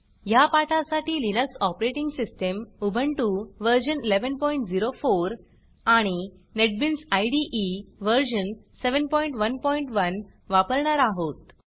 ह्या पाठासाठी Linux operating system Ubuntu व्ह1104 आणि नेटबीन्स इदे व्ह711 वापरणार आहोत